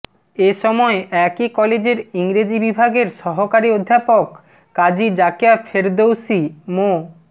এসময় একই কলেজের ইংরেজি বিভাগের সহকারী অধ্যাপক কাজী জাকিয়া ফেরদৌসি মো